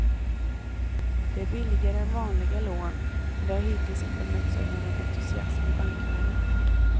Det är billigare än vanliga lån, men det har hittills inte mötts av någon entusiasm i bankvärlden.